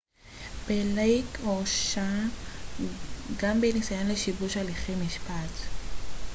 בלייק הורשע גם בניסיון לשיבוש הליכי משפט